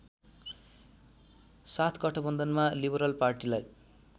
साथ गठबन्धनमा लिबरल पार्टिलाई